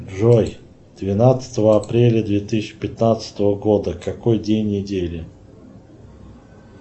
джой двенадцатого апреля две тысячи пятнадцатого года какой день недели